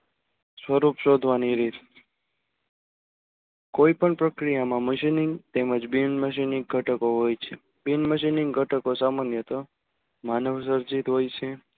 સ્વરૂપ શોધવાની રીત કોઈ પણ પ્રક્રિયા માં machining તેમજ બિન machining ગટકો હોય છે. બિન machining ગટકો સામાન્ય તો માનવ સર્જિત હોય છ